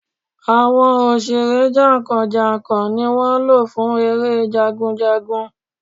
Àwọn òṣèré jàǹkàn jàǹkàn ni wọ́n lò fún eré Jagun.